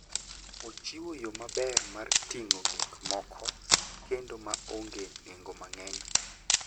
Ochiwo yo maber mar ting'o gik moko kendo ma onge nengo mang'eny.